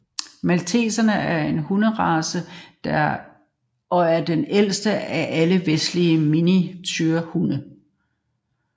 Malteser er en hunderace og den ældste af alle vestlige miniaturehunde